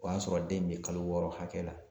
O y'a sɔrɔ den in be kalo wɔɔrɔ hakɛ la